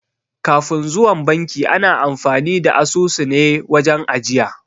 Kafin zuwan banki ana amfani da asusune wajen ajiya